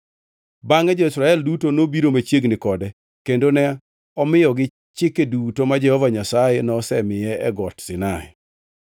Bangʼe jo-Israel duto nobiro machiegni kode kendo ne omiyogi chike duto ma Jehova Nyasaye nosemiye e Got Sinai.